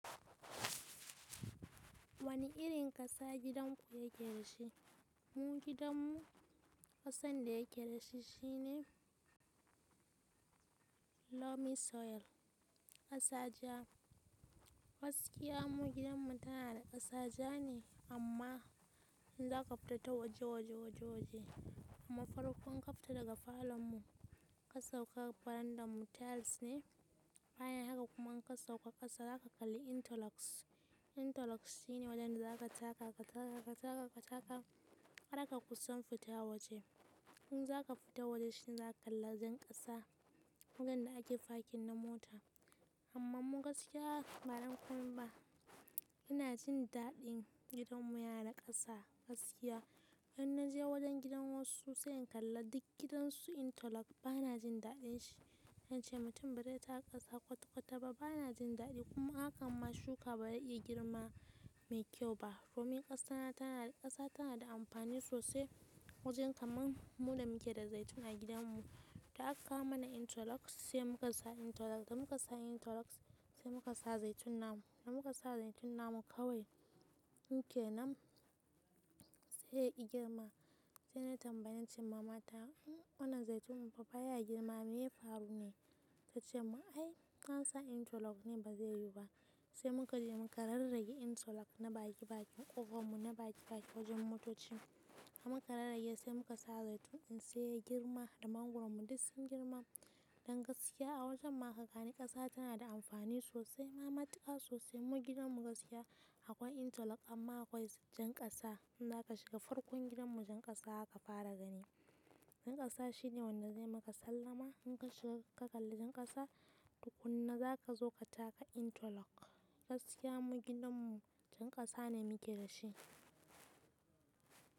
Wani irin ƙasa gidan ku yake da shi? Mu gidanmu ƙasan da yake da shi shi ne loamy soil. Ƙasa ja. Gaskiya mu gidanmu tana da ƙasa ja ne amma in za ka fita ta waje-waje waje-waje, amma farkon ka fita daga falon mu ka sauka veranda mu tiles ne. Bayan haka kuma in ka sauka ƙasa za ka kalli interlocks. Interlocks shi ne wajen da za ka taka ka taka ka taka ka taka har ka kusa fita waje. In za ka fita waje shi za ka kalla jan ƙasa, wajen da ake parking na mota. Amma mu gaskiya mara kwam ba, ina jin daɗin gidanmu yana da ƙasa gaskiya. Wajen na je wajen gidan wasu sai in kalla duk gidan su interlock ba na jin daɗin shi. Na ce mutum ba dai ta ƙasa kwata-kwata ba ba na jin daɗi kuma hakan ma shuka ba ya iya girma mai kyau ba. Domin ƙasa tana, tana da ƙasa tana da amfani sosai wajen kamar muda muke da zaitun a gidanmu. Ta aka kawo mana interlocks sai muka sa interlocks. Da muka sa interlocks sai muka sa zaitun namu. Da muka sa zaitun namu kawai muke nan sai ya ƙi girma. Sai na tambayi na ce mama ta wannan zaitun mu fa ba ya girma me ya faru ne? Ta ce ma ai in ka sa interlocks ne ba zai yiwu ba. Sai muka je muka rarraye interlock na baki-bakin ƙofan mu na baki-baki wajen motocin. Da muka rarrage sai muka sa zaitunin sai ya yi girma da mangoron mu duk sun girma. Don gaskiya a wajen ma haka gani ƙasa tana da amfani sosai. Ma matuƙa sosai mu gidan mu gaskiya akwai interlock amma akwai jan ƙasa. In za ka shiga farkon gidan mu jan ƙasa aka fara gani. Jan ƙasa shi ne wanda zai maka sallama. In ka shiga ka kalli jan ƙasa duk kunne za ka zo ka taka interlock. Gaskiya mu gidanmu jan ƙasa ne muke da shi.